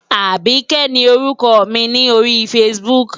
Àbíkẹ́ ni orúkọ mi ni ori Facebook.